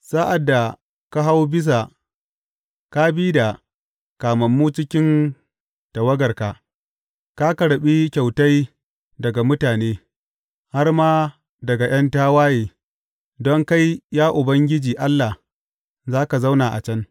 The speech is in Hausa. Sa’ad da ka hau bisa, ka bi da kamammu cikin tawagarka; ka karɓi kyautai daga mutane, har ma daga ’yan tawaye, don kai, ya Ubangiji Allah, za ka zauna a can.